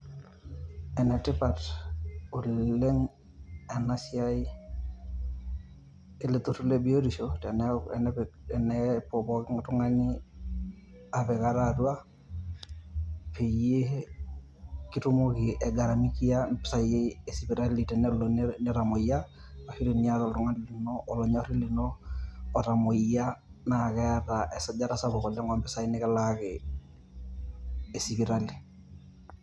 Enetipat oleng ena siai ele turrur le biotisho tenaeku, tenepik, tenepuo poki tung`ani apik ate atua peyie kitumoki aing`aramikia mpisai e sipitali tenelo nita nitamuoyia. Ashu teniata oltung`ani lino olonyori lino otamuoyia naa keeta esajata kumok oo mpisai nikilaaki e sipitali.